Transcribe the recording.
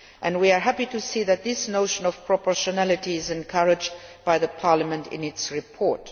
We are happy to see that this notion of proportionality is encouraged by Parliament in its report.